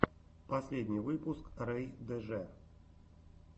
последний выпуск рэй дж